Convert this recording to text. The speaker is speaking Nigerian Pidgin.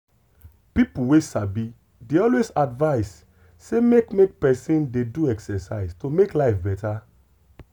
people wey sabi dey always advise say make make person dey do exercise to make life better.